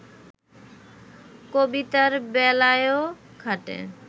কবিতার বেলায়ও খাটে